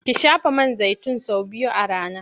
Ki shafa man zaitin sau biyu a rana.